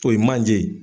O ye manje ye